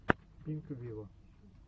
пинк виво